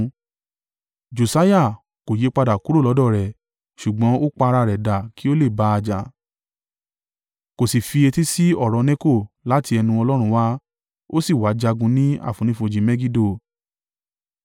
Josiah, kò yípadà kúrò lọ́dọ̀ rẹ̀, ṣùgbọ́n ó pa ara rẹ̀ dà kí ó le bá a jà, kó sì fi etí sí ọ̀rọ̀ Neko láti ẹnu Ọlọ́run wá, ó sì wá jagun ní àfonífojì Megido.